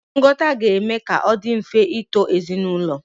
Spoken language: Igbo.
Nghọta ga-eme ka ọ dị mfe ịto ezinaụlọ.